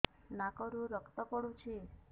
ନାକରୁ ରକ୍ତ ପଡୁଛି